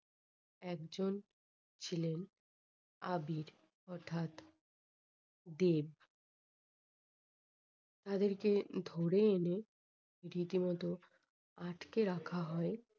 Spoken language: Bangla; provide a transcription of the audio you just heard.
একজন ছিলেন আবির। অর্থাৎ দেব। তাদেরকে ধরে এনে রীতিমতো আটকে রাখা হয়